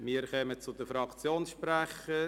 Wir kommen zu den Fraktionssprechern.